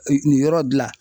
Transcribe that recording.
nin yɔrɔ dila